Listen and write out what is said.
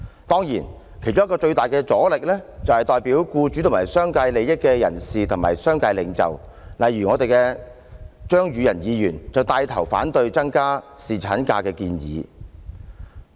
當然，其中一個最大阻力，來自代表僱主和商界利益的人士和商界領袖，例如張宇人議員就帶頭反對增加侍產假的建議。